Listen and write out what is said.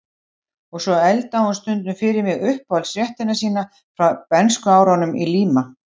Og svo eldaði hún stundum fyrir mig uppáhaldsréttina sína frá bernskuárunum í Líma